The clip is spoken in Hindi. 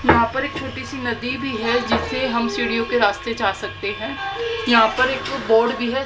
यहां पर एक छोटी सी नदी भी है जिस पे हम सीढ़ियों के रास्ते जा सकते हैं यहां पर एक बोर्ड भी है।